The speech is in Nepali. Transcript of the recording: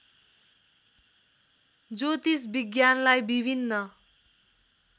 ज्योतिष विज्ञानलाई विभिन्न